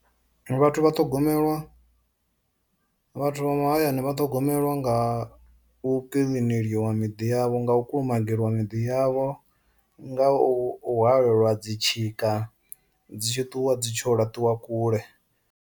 Vhathu vha ṱhogomelwa vhathu vha mahayani vha ṱhogomelwa nga u kilineliwa miḓi yavho, nga u kulumagiwa miḓi yavho nga u hwaleliwa dzi tshika dzi tshi ṱuwa dzi tsho laṱiwa kule.